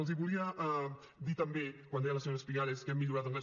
els volia dir també quan deia la senyora espigares que hem millorat d’anglès